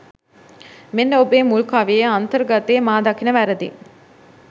මෙන්න ඔබේ මුල් කවියේ අන්තර්ගතයේ මා දකින වැරදි .